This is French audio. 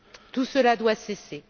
Tout cela doit cesser.